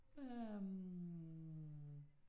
Ja hm